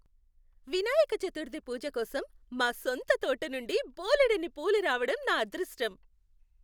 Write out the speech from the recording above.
వినాయక చతుర్థి పూజ కోసం మా సొంత తోట నుండి బోలెడన్ని పూలు రావడం నా అదృష్టం.